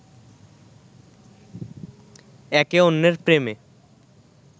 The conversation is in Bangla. একে অন্যের প্রেমে